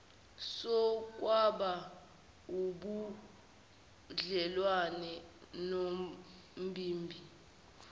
sokwaba ubudlelwane nombimbi